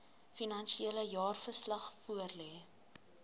finansiële jaarverslag voorlê